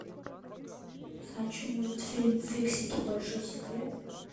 хочу мультфильм фиксики большой секрет